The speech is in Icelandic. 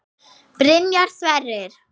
Byrjar Sverrir?